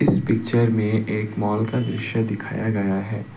इस पिक्चर में एक मॉल का दृश्य दिखाया गया है।